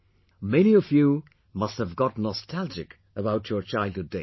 Many of you must have got nostalgic about your childhood days